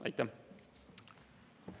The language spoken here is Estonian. Aitäh!